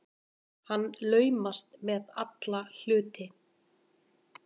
Hann laumast með alla hluti.